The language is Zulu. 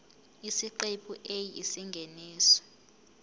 isiqephu a isingeniso